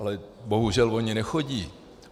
Ale bohužel oni nechodí.